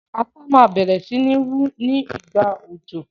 Ata ma bẹ̀rẹ̀ si ni wu ni ìgbà òjò